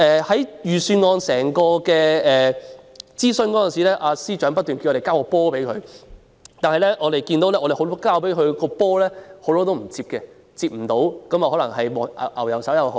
在預算案諮詢過程中，司長不斷叫我們"交波"，我們交了很多"波"給他，但他沒有接或接不到，可能是"牛油手"。